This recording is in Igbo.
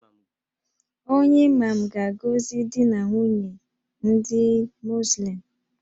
Onye Imam ga-agọzi di na nwunye ndị Muzlim